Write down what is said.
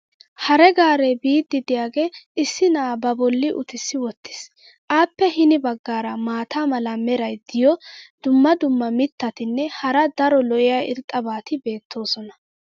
hare gaaree biidi diyaagee issi na"aa ba boli uttissi wotiis. appe hini bagaara maata mala meray diyo dumma dumma mitatinne hara daro lo'iya irxxabati beetoosona.